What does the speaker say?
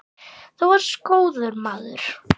Þú varst góður maður.